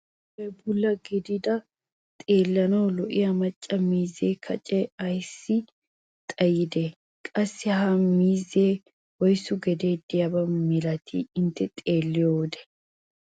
I meray bulla gididagee xeellanawu lo'iyaa macca miizee kacee ayssi xayidee? qassi ha miizzeessi woyssu gedee diyaaba milatii intte xeelliyoode?